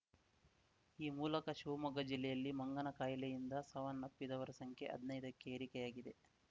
ಈ ಮೂಲಕ ಶಿವಮೊಗ್ಗ ಜಿಲ್ಲೆಯಲ್ಲಿ ಮಂಗನ ಕಾಯಿಲೆಯಿಂದ ಸಾವನ್ನಪ್ಪಿದವರ ಸಂಖ್ಯೆ ಹದ್ನೈದಕ್ಕೆ ಏರಿಕೆಯಾಗಿದೆ